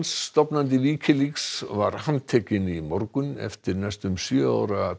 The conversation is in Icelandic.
stofnandi Wikileaks var handtekinn í morgun eftir næstum sjö ára